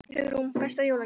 Hugrún: Besta jólagjöfin?